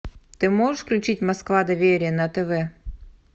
ты можешь включить москва доверие на тв